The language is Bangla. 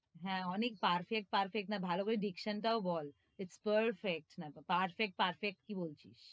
হ্যাঁ, অনেক perfect perfect না, ভালো করে diction টাও বল its perfect hmm perfect perfect কি বলছিস,